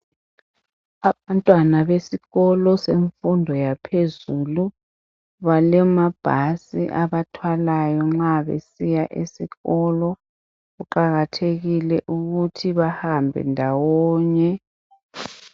Abantwana besikolo semfundo yaphezulu balemabhasi abathwalayo nxa besiya esikolo. Kuqakathekile ukuthi behambe ndawonye.